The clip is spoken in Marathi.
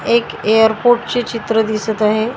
एक एअरपोर्ट ची चित्र दिसत आहे.